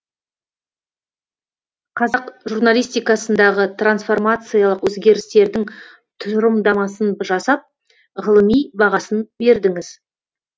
қазақ журналистикасындағы трансформациялық өзгерістердің тұжырымдамасын жасап ғылыми бағасын бердіңіз